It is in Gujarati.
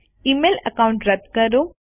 ઇમેઇલ એકાઉન્ટ રદ કરો